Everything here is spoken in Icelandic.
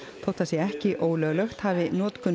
þótt það sé ekki ólöglegt hafi notkun